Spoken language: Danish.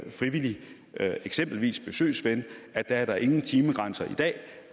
frivillig eksempelvis besøgsven er der ingen timegrænser i dag